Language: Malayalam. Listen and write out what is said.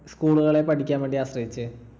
school കളെ പഠിക്കാൻ വേണ്ടി ആശ്രയിച്ചേ?